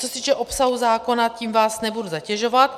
Co se týče obsahu zákona, tím vás nebudu zatěžovat.